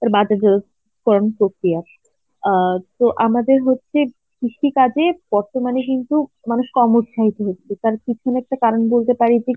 কম প্রক্রিয়ার. অ্যাঁ তো আমাদের হচ্ছে কৃষি কাজে বর্তমানে কিন্তু মানুষ কম উৎসাহিত হচ্ছে কারণ কারণ বলতে পারি যে